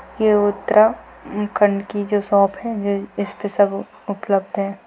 ये उत्तरा म-खंड की जो शॉप है जो इसपे सब उपलब्ध है।